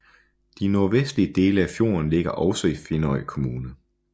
De nordvestlige dele af fjorden ligger også i Finnøy kommune